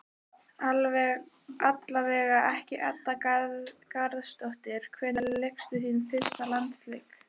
Allavega ekki Edda Garðarsdóttir Hvenær lékstu þinn fyrsta landsleik?